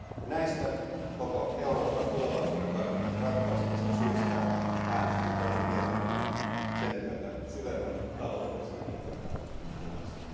Näistä koko Euroopan tulevaisuuden kannalta ratkaisevista syistä äänestin tämän mietinnön ja sen myötä syvemmän taloudellisen integraation puolesta.